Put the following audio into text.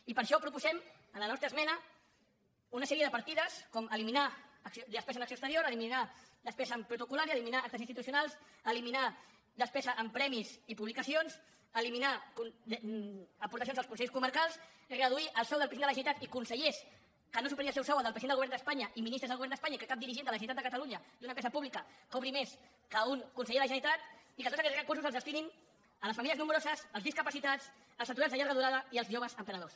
i per això proposem en la nostra esmena una sèrie de partides com eliminar despesa en acció exterior eliminar despesa protocol·eliminar actes institucionals eliminar despesa en premis i publicacions eliminar aportacions als consells comarcals reduir el sou del president de la generalitat i consellers que no superi el seu sou el del president del govern d’espanya i ministres del govern d’espanya i que cap dirigent de la generalitat de catalunya d’una empresa pública cobri més que un conseller de la generalitat i que tots aquests recursos es destinin a les famílies nombroses als discapacitats als aturats de llarga durada i als joves emprenedors